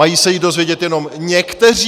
Mají se ji dozvědět jenom někteří?